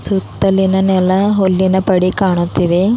ಸುತ್ತಲಿನ ನೆಲ ಹುಲ್ಲಿನ ಪಡಿ ಕಾಣುತ್ತಿವೆ.